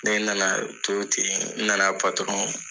Ne na na to ten n na na